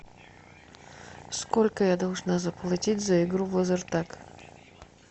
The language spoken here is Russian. сколько я должна заплатить за игру в лазертаг